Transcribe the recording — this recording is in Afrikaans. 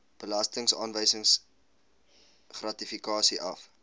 belastingaanwysing gratifikasie af